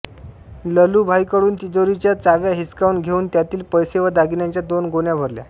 ललूभाईकडून तिजोरीच्या चाव्या हिसकावून घेऊन त्यातील पैसे व दागिन्यांच्या दोन गोण्या भरल्या